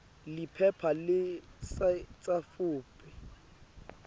liphepha lesitsatfu p